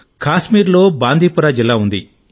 కాశ్మీర్లో బాందీపుర జిల్లా ఉంది